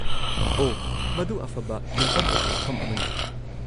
-ꯑꯣꯍ, ꯃꯗꯨ ꯑꯐꯕ ꯌꯨꯝꯐꯝ ꯑꯣꯏꯕ ꯋꯥꯐꯝ ꯑꯃꯅꯤ꯫